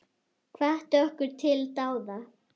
Hvatti okkur til dáða.